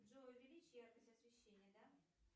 джой увеличь яркость освещения да